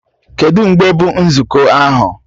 Kedụ mgbe bụ nzukọ ahụ?